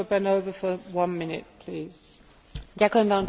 Dobrý večer pani predsedajúca, pán komisár, kolegyne, kolegovia.